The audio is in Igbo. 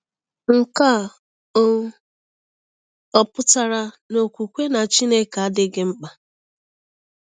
Nke a um ọ̀ pụtara na okwukwe na Chineke adịghị mkpa?